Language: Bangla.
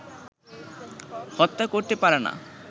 হত্যা করতে পারেনা